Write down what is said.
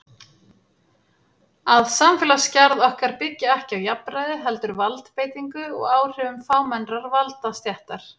Að samfélagsgerð okkar byggi ekki á jafnræði heldur valdbeitingu og áhrifum fámennrar valdastéttar.